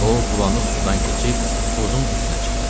O bulanıq sudan keçib buzun üstünə çıxdı.